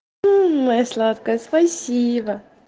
моя сладкая спасибо